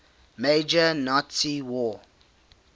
major nazi war